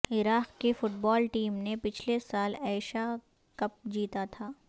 عراق کی football team نے پچھلے سال ایشا کپ جیتا تھا